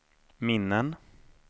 minnen